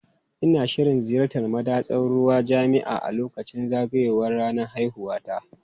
Ina shirin ziyartar madatsar ruwan jami'a a lokacin zagayowar ranar haihuwata.